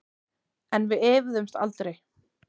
En við efuðumst aldrei.